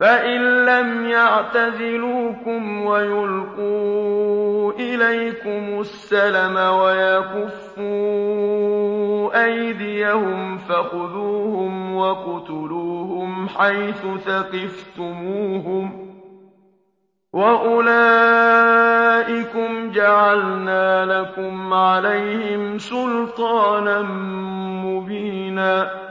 فَإِن لَّمْ يَعْتَزِلُوكُمْ وَيُلْقُوا إِلَيْكُمُ السَّلَمَ وَيَكُفُّوا أَيْدِيَهُمْ فَخُذُوهُمْ وَاقْتُلُوهُمْ حَيْثُ ثَقِفْتُمُوهُمْ ۚ وَأُولَٰئِكُمْ جَعَلْنَا لَكُمْ عَلَيْهِمْ سُلْطَانًا مُّبِينًا